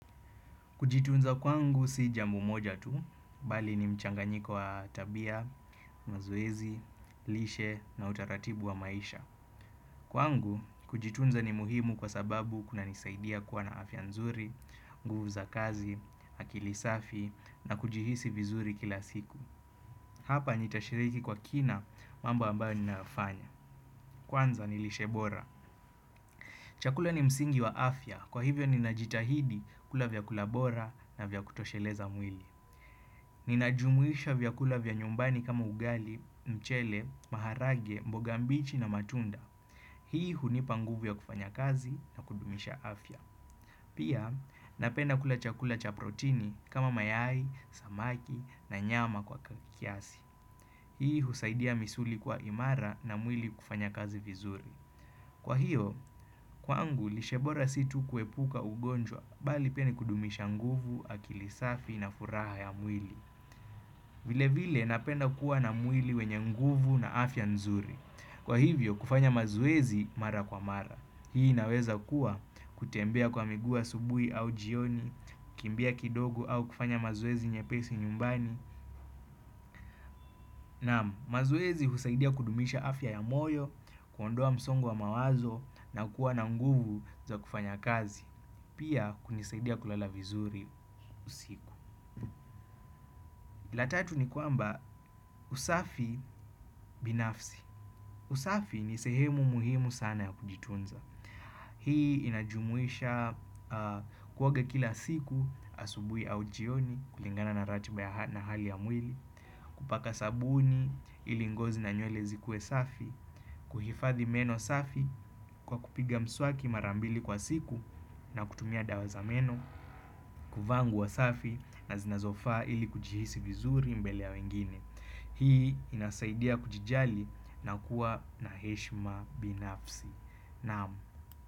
Kujitunza kwangu si jambo moja tu bali ni mchanganyiko wa tabia mazoezi lishe na utaratibu wa maisha. Kwangu kujitunza ni muhimu kwa sababu kunanisaidia kuwa na afya nzuri nguvu za kaz akili safi na kujihisi vizuri kila siku. Hapa nitashiriki kwa kina mambo ambayo ninayafanya. Kwanza ni lishebora. Chakula ni msingi wa afya kwa hivyo ninajitahidi kula vyakula bora na vya kutosheleza mwili. Ninajumuisha vyakula vya nyumbani kama ugali mchele maharage mboga mbichi na matunda. Hii hunipa nguvu ya kufanya kazi na kudumisha afya. Pia napenda kula chakula cha protini kama mayai samaki na nyama kwa kiasi. Hii husaidia misuli kwa imara na mwili kufanya kazi vizuri. Kwa hiyo kwaangu lishebora sii tu kuepuka ugonjwa bali pia ni kudumisha nguvu akili safi na furaha ya mwili. Vile vile napenda kuwa na mwili wenye nguvu na afya nzuri. Kwa hivyo kufanya mazoezi mara kwa mara. Hii inaweza kuwa kutembea kwa miguu asubuhi au jioni kukimbia kidogo au kufanya mazoezi nyepesi nyumbani. Naam mazoeezi husaidia kudumisha afya ya moyo kuondoa msongo wa mawazo na kuwa na nguvu za kufanya kazi. Pia kunisaidia kulala vizuri usiku. La tatu ni kwamba usafi binafsi. Usafi ni sehemu muhimu sana ya kujitunza. Hii inajumuisha kuoga kila siku asubuhi au jioni kulingana na ratiba na hali ya mwili. Kupaka sabuni ili ngozi na nywele zikue safi. Kuhifadhi meno safi kwa kupiga mswaki mara mbili kwa siku na kutumia dawa za meno. Kuvaa nguo safi na zinazofaa ili kujihisi vizuri mbele ya wengine. Hii inasaidia kujijali na kuwa na heshima binafsi naam.